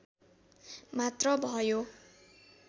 मात्र भयो